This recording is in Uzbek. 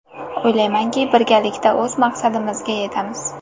O‘ylaymanki, birgalikda o‘z maqsadimizga yetamiz.